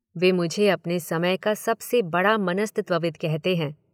वे मुझे अपने समय का सबसे बड़ा मनस्तत्वविद् कहते हैं।